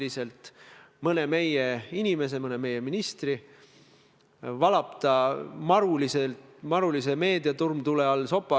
Ma arvan, et teil on nüüd võimalus katsetada ja näidata, kuidas prokuratuur on poliitiliselt sõltumatu.